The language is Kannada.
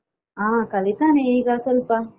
ಹಾ ಕಲಿತಾನೆ ಈಗ ಸ್ವಲ್ಪ.